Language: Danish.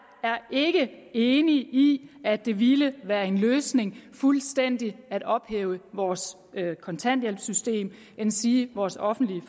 ikke enig i at det ville være en løsning fuldstændig at ophæve vores kontanthjælpssystem endsige vores offentlige